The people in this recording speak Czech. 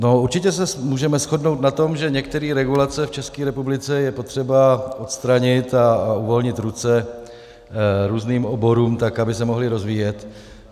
No, určitě se můžeme shodnout na tom, že některé regulace v České republice je potřeba odstranit a uvolnit ruce různým oborům tak, aby se mohly rozvíjet.